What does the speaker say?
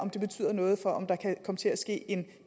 betyder noget for om der kan komme til at ske en